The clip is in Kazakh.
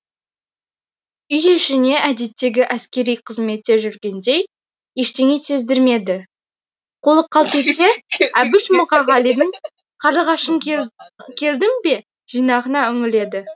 үй ішіне әдеттегі әскери қызметте жүргендей ештеңе сездірмеді қолы қалт етсе әбіш мұқағалидың қарлығашым келдің бе жинағына үңіледі